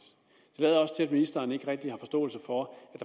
lader også til at ministeren ikke rigtig har forståelse for at